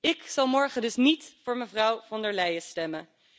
Ik zal morgen dus niet voor mevrouw von der Leyen stemmen.